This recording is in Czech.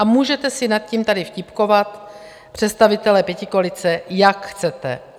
A můžete si nad tím tady vtipkovat, představitelé pětikoalice, jak chcete.